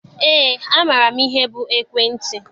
Eé, amaara m ihe bụ ekwentị.